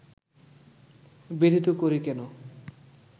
ব্যথিত করি কেন